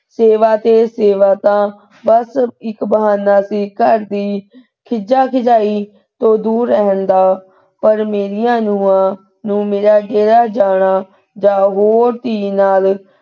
ਸੇਵਾ ਤੇ ਸੇਵਾ ਤਾ ਬਸ ਇਕ ਬਹਾਨਾ ਸੀ ਘਰ ਦੀ ਖਿਝਾ ਖਿਝਾਈ ਤੋਂ ਦੂਰ ਰਹਿਣ ਦਾ ਪਰ ਮੇਰੀਆਂ ਨੂੰਹਾਂ ਨੂੰ ਮੇਰਾ ਡੇਰਾ ਜਾਣਾ ਜਾਂ ਹੋਰ ਧੀ ਨਾਲ,